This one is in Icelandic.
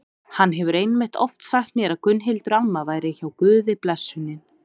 Hann hefur einmitt oft sagt mér að Gunnhildur amma væri hjá Guði blessunin.